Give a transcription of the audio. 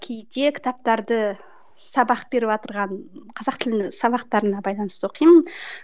кейде кітаптарды сабақ беріватырған қазақ тілінің сабақтарына байланысты оқимын